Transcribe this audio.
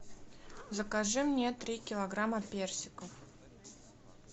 закажи мне три килограмма персиков